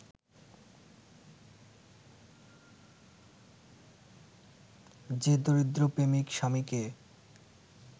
যে দরিদ্র প্রেমিক-স্বামীকে